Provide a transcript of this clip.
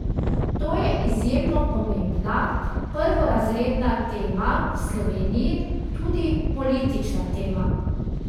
To je izjemno pomembna, prvorazredna tema v Sloveniji, tudi politična tema.